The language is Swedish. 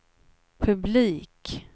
publik